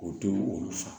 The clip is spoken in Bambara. O te olu fa